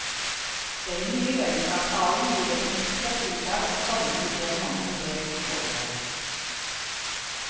Den nye lønnsavtalen gir dem en ekstra fridag og sommertid en måned mer i året.